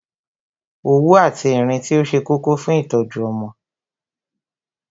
Òwú àti Ìrintí ó ṣe kókó fún ìtọ́jú ọmọ